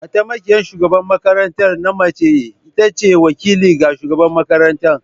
Mataimakiyar shugaban makaranta na mace ita ce wakili ga shugabar makarantar.